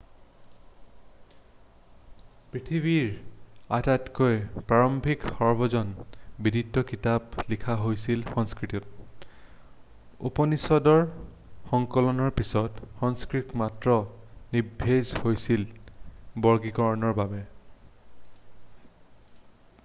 পৃথিৱীৰ আটাইতকৈ প্ৰাৰম্ভিক সৰ্বজন বিদিত কিতাপ লিখা হৈছিল সংস্কৃতত উপনিষদবোৰৰ সংকলনৰ পিছত সংস্কৃত মাত্ৰ নিস্তেজ হৈছিল বৰ্গীকৰণৰ বাবে